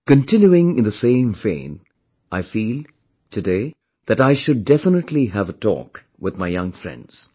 Continuing in the same vein, I feel, today, that I should definitely have a talk with my young friends